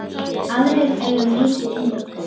Aðrir eiga mikið inni.